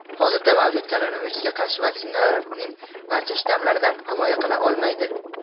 Hozirda mavjud koronavirusga qarshi vaksinalar uning barcha shtammlaridan himoya qila olmaydi.